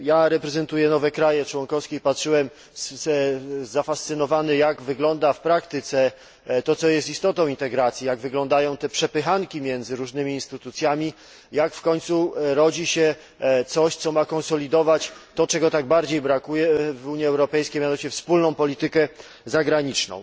Reprezentuję nowe kraje członkowskie i obserwowałem zafascynowany jak wygląda w praktyce to, co jest istotą integracji, jak wyglądają te przepychanki między różnymi instytucjami, jak w końcu rodzi się coś, co ma konsolidować to, czego tak bardzo brakuje w Unii Europejskiej, mianowicie wspólną polityką zagraniczną.